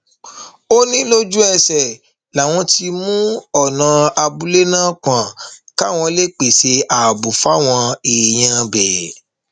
nítorí náà ẹdùn ọkàn gidi nikú ọtúnba àkàlà jẹ fún èmi àti ìdílé mi